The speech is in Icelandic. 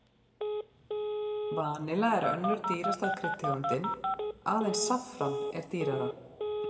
Vanilla er önnur dýrasta kryddtegundin, aðeins saffran er dýrara.